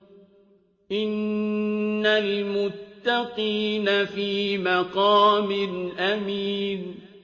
إِنَّ الْمُتَّقِينَ فِي مَقَامٍ أَمِينٍ